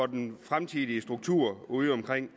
den fremtidige struktur udeomkring